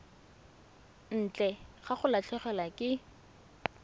ntle ga go latlhegelwa ke